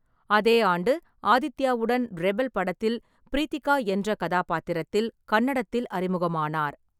அதே ஆண்டு ஆதித்யாவுடன் ரெபெல் படத்தில் ப்ரீத்திகா என்ற கதாபாத்திரத்தில் கன்னடத்தில் அறிமுகமானார்.